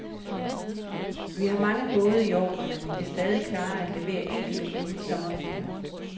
Vi har mange både i ordre, men vi kan stadig klare at levere enkelte inden sommerferien.